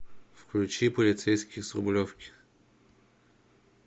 включи полицейский с рублевки